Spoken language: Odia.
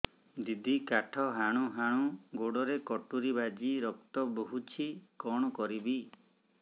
ଦିଦି କାଠ ହାଣୁ ହାଣୁ ଗୋଡରେ କଟୁରୀ ବାଜି ରକ୍ତ ବୋହୁଛି କଣ କରିବି